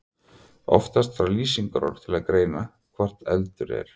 Oftast þarf lýsingarorð til að greina hvort heldur er.